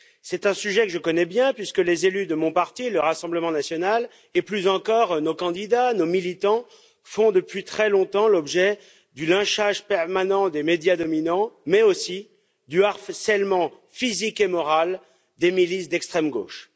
C'est un sujet que je connais bien, puisque les élus de mon parti, le Rassemblement national, et plus encore nos candidats, nos militants, font depuis très longtemps l'objet du lynchage permanent des médias dominants, mais aussi du harcèlement physique et moral des milices d'extrême gauche.